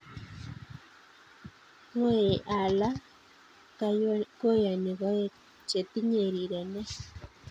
Ng'oyei Allah kayonii koek che tinyei rirenee.